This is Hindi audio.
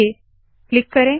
ओके क्लिक करे